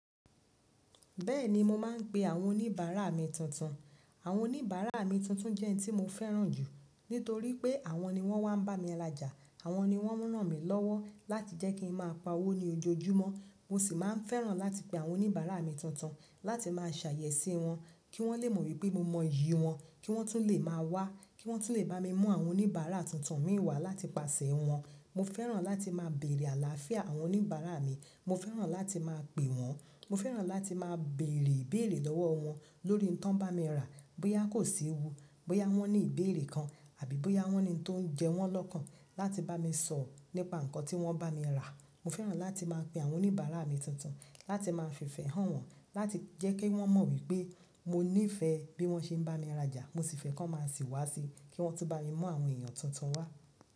Bẹ́ẹ̀ni mo máa ń pe àwọn oníbàárà mi tuntun. Àwọn oníbàárà mi tuntun jẹ́ ẹni tí mo fẹ́ràn jù nítorí pé àwọn ni wọ́n máa ń bá mi rajà, àwọn ni wọ́n rán mi lọ́wọ́ láti jẹ́ kí n máa pa owó ní ojoojúmọ́. Mo sì máa ń fẹ́ràn láti pe àwọn oníbàárà mi tuntun láti máa ṣàyẹ̀ sí wọn kí wọ́n lè mọ̀ wípé mo mọ iyì wọn, kí wọ́n tún lè máa wá, kí wọ́n tún lè bá mi mú àwọn oníbàárà tuntun mí wá láti pàṣẹ wọn. Bẹ́ẹ̀ni mo máa ń pe àwọn oníbàárà mi tuntun. Bóyá kò sí ewu, bóyá wọ́n ní ìbéèrè kan àbí bóyá wọ́n ní ohun tó ń jẹ wọ́n lọ́kàn láti bá mi sọ̀rọ̀ nípa nǹkan tí wọ́n bá mi rà. Mo fẹ́ràn láti máa pè awọn oníbárà mi tuntun, láti máa fí ìfẹ hàn wọn, láti jé kò mọ wipe mo ní ìfẹ́ bí wọ́n ṣe ń bá mi rajà mo sì fẹ́ kí wọ́n má sì wá sí kí wọ́n tún bá mi mú àwọn èèyàn tuntun wá.